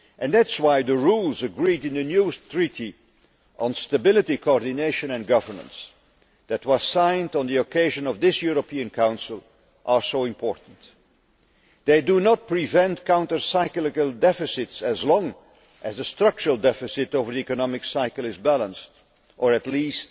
That is why the rules agreed in the new Treaty on Stability, Coordination and Governance, which was signed on the occasion of this European Council, are so important. They do not prevent countercyclical deficits as long as the structural deficit over the economic cycle is balanced, or at least